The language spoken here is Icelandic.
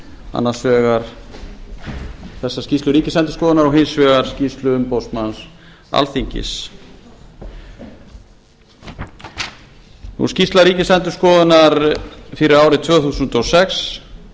annars vegar þessa skýrslu ríkisendurskoðunar og hins vegar skýrslu umboðsmanns alþingis skýrsla ríkisendurskoðunar fyrir árið tvö þúsund og sex